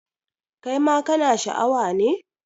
Kai ma kana Sha a wa ne?